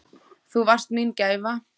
Þú varst mín gæfa.